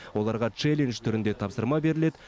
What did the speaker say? оларға челлендж түрінде тапсырма беріледі